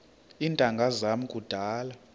iintanga zam kudala